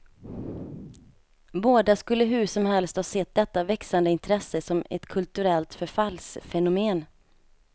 Båda skulle hur som helst ha sett detta växande intresse som ett kulturellt förfallsfenomen.